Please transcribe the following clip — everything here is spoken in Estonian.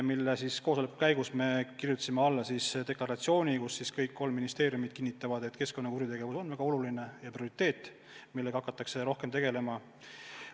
Selle koosoleku käigus me kirjutasime alla deklaratsioonile, kus kõik ministeeriumid kinnitavad, et keskkonnakuritegevus on väga oluline prioriteetvaldkond, millega hakatakse rohkem tegelema.